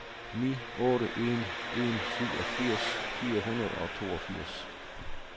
ni otte en en syvogfirs fire hundrede og toogfirs